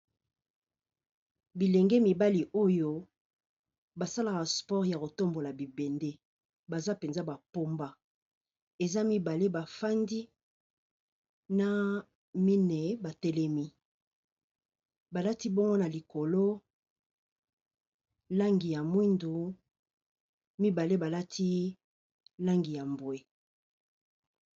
Biilenge mibali oyo ba salaka sport ya ko tombola bibende, baza penza ba pomba . Eza mibale ba fandi na mine ba telemi ba lati bongo na likolo langi ya moyindo, mibale ba lati langi ya mbwe .